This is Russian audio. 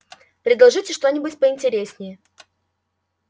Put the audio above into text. предложите что-нибудь поинтереснее